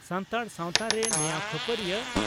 ᱥᱟᱱᱛᱟᱲ ᱥᱟᱣᱛᱟᱨᱮ ᱱᱤᱭᱟᱣ ᱠᱷᱟᱹᱯᱟᱹᱨᱤᱭᱟᱹ